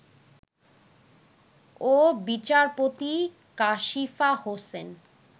ও বিচারপতি কাশিফা হোসেন